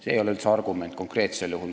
See ei ole konkreetsel juhul üldse argument.